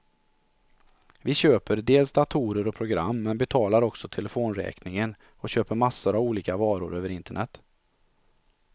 Vi köper dels datorer och program, men betalar också telefonräkningen och köper massor av olika varor över internet.